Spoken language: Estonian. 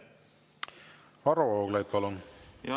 Varro Vooglaid, palun!